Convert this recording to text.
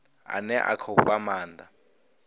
ane a khou fha maanda